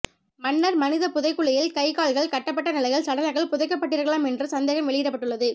மன்னர் மனித புதைகுழியில் கை கால்கள் கட்டப்பட்ட நிலையில் சடலங்கள் புதைக்கப்பட்டிருக்கலாம் என்று சந்தேகம் வெளியிடப்பட்டுள்ளது